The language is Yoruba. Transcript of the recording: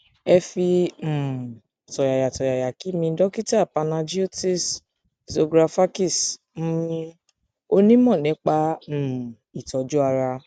ẹ fi um tọyàyàtọyàyà kí mi dókítà panagiotis zografakis um onímọ nípa um ìtọjú ara